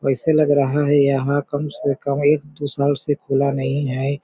वैसे लग रहा है यहाँ कम से कम एक दो साल से खुला नहीं है।